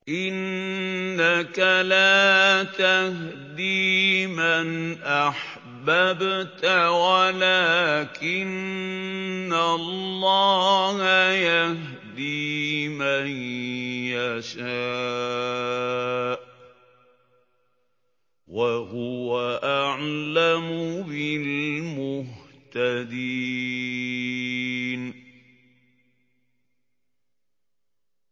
إِنَّكَ لَا تَهْدِي مَنْ أَحْبَبْتَ وَلَٰكِنَّ اللَّهَ يَهْدِي مَن يَشَاءُ ۚ وَهُوَ أَعْلَمُ بِالْمُهْتَدِينَ